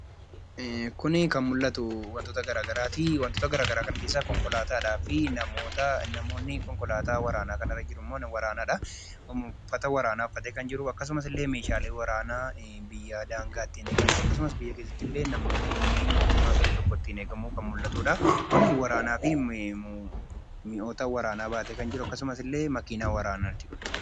Kuni kan mul'atu waantoota gara garaatti. Wantoota gara garaa kana keessa Konkolatadhaafi Namoota. Namootni Konkollataa kana irra jiruu immoo warranaadha. Uffata waranaa uffatee kan jiru, akkasumaas ilee meshalee warana biyyaa dangaa ittin egamuu akkasumaas biyyaa keessatti namootni illee motummaan biyya tokko ittin eegamuu kan mul'atudha. Kuni warannaafi mi'oota waranaa batee kan jruu akksumaas illee makinaa waranaatti kun.